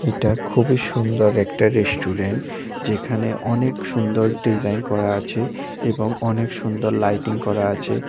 এটা খুবই সুন্দর একটা রেস্টুরেন্ট যেইখানে অনেক সুন্দর ডিজাইন করা আছে এবং অনেক সুন্দর লাইটিং করা আছে।